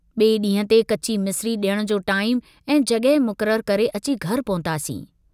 ॿिए डींहुं ते कची मिसिरी डियण जो टाईमु ऐं जगहि मुकररु करे अची घर पहुतासीं।